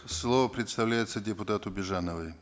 слово предоставляется депутату бижановой